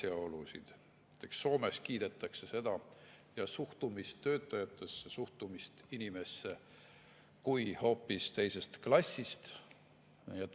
Näiteks Soomes kiidetakse suhtumist töötajatesse, suhtumist inimesse, et see on seal hoopis teisest klassist.